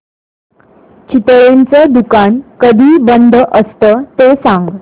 चितळेंचं दुकान कधी बंद असतं ते सांग